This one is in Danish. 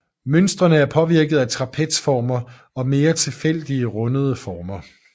Mønstrene er påvirket af trapezformer og mere tilfældige rundede former